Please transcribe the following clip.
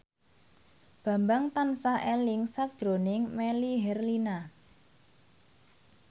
Bambang tansah eling sakjroning Melly Herlina